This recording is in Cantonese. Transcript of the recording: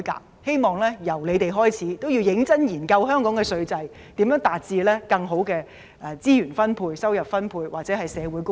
我希望由他們開始，認真研究香港的稅制，思考如何可以更好地分配資源和收入，達致社會公義。